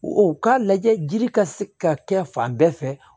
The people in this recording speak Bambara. O k'a lajɛ jiri ka se ka kɛ fan bɛɛ fɛ